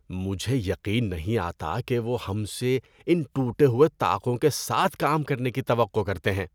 مجھے یقین نہیں آتا کہ وہ ہم سے ان ٹوٹے ہوئے طاقوں کے ساتھ کام کرنے کی توقع کرتے ہیں۔